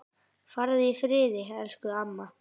Farðu í friði, elsku amma.